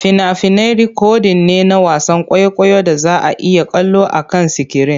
Fina-finai rikodin ne na wasan kwaikwayon da za a iya kallo akan sikirin.